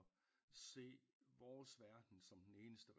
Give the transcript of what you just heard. Se vores verden som den eneste